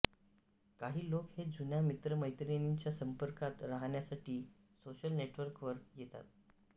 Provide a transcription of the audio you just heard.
काही लोक हे जुन्या मित्रमैत्रिणींच्या संपर्कात राहण्यासाठी सोशल नेटवर्कवर येतात